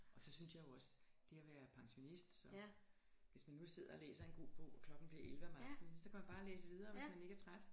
Og så synes jeg jo også det at være pensionist og hvis man nu sidder og læser en god bog og klokken bliver 11 om aftenen så kan man bare læse videre hvis man ikke er træt